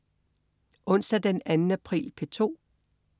Onsdag den 2. april - P2: